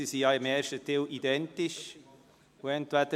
Dies, weil sie im ersten Teil identisch sind.